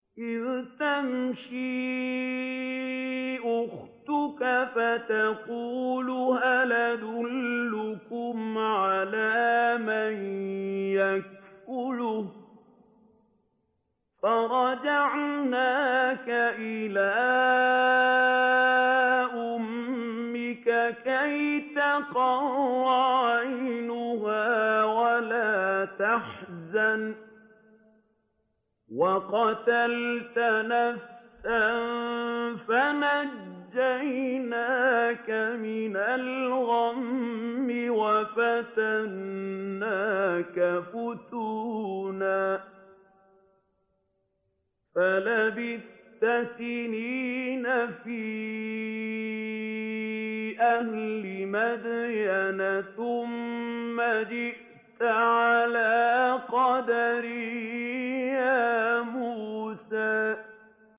إِذْ تَمْشِي أُخْتُكَ فَتَقُولُ هَلْ أَدُلُّكُمْ عَلَىٰ مَن يَكْفُلُهُ ۖ فَرَجَعْنَاكَ إِلَىٰ أُمِّكَ كَيْ تَقَرَّ عَيْنُهَا وَلَا تَحْزَنَ ۚ وَقَتَلْتَ نَفْسًا فَنَجَّيْنَاكَ مِنَ الْغَمِّ وَفَتَنَّاكَ فُتُونًا ۚ فَلَبِثْتَ سِنِينَ فِي أَهْلِ مَدْيَنَ ثُمَّ جِئْتَ عَلَىٰ قَدَرٍ يَا مُوسَىٰ